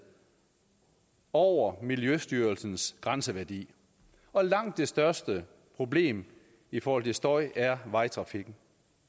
over miljøstyrelsens grænseværdi og langt det største problem i forhold til støj er vejtrafikken